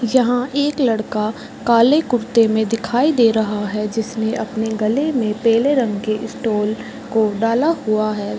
यहां एक लड़का काले कुर्ते में दिखाई दे रहा है जिसने अपने गले में पेले कलर का स्टॉल को डाला हुआ है।